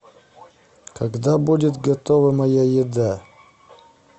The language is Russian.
когда будет готова моя еда